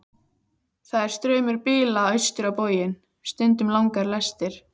Það er straumur bíla austur á bóginn, stundum langar lestir.